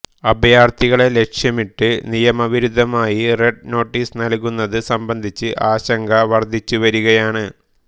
അഭയാർഥികളെ ലക്ഷ്യമിട്ട് നിയമവിരുദ്ധമായി red notice നൽകുന്നത് സംബന്ധിച്ച് ആശങ്ക വർദ്ധിച്ചുവരികയാണ്